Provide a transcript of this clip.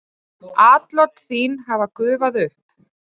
Atlot þín hafa gufað upp.